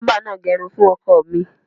Bábà náà gẹrun to dára fun ọkọ mi.